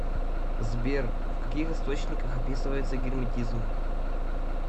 сбер в каких источниках описывается герметизм